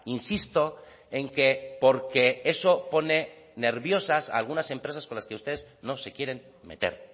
insisto en que porque eso pone nerviosas a algunas empresas con las que ustedes no se quieren meter